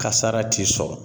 Kasara t'i sɔrɔ